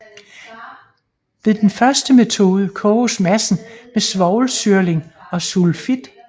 Ved den første metode koges massen med svovlsyrling og sulfit